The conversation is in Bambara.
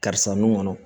Karisa nun kɔnɔ